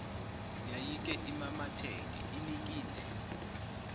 yayike imamatheke inikine